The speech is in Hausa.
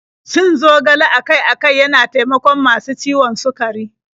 Cin zogale akai-akai yana taimakon masu ciwon sukari.